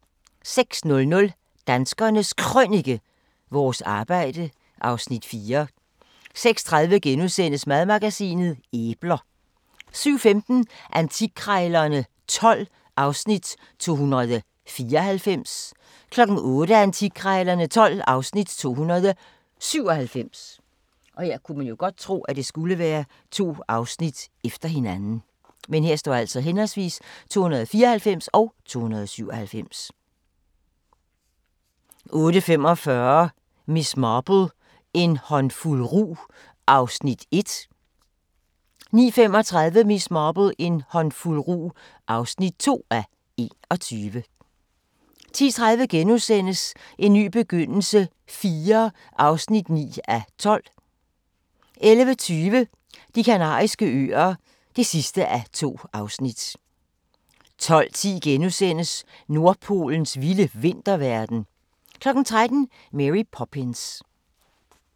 06:00: Danskernes Krønike – Vores arbejde (Afs. 4) 06:30: Madmagasinet: Æbler * 07:15: Antikkrejlerne XII (Afs. 294) 08:00: Antikkrejlerne XII (Afs. 297) 08:45: Miss Marple: En håndfuld rug (1:21) 09:35: Miss Marple: En håndfuld rug (2:21) 10:30: En ny begyndelse IV (9:12)* 11:20: De Kanariske Øer (2:2)* 12:10: Nordpolens vilde vinterverden * 13:00: Mary Poppins